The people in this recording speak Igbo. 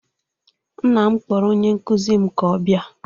Nna m kpọrọ onye nkụzi m ka ọ bịa